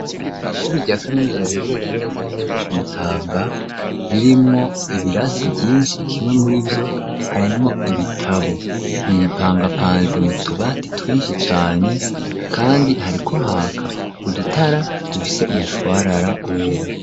Ishuri rya kaminuza, riherereye neza na neza, ku Mutanga, ririmwo ibirasi vyinshi; kimwe muri vyo, harimwo ibitabo, bipangapanze, mu tubati twinshi cane, kandi, hariko haka udutara, dufise umushwarara wera.